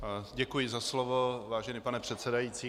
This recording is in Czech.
Děkuji za slovo, vážený pane předsedající.